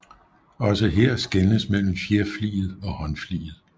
Også her skelnes mellem fjerfliget og håndfliget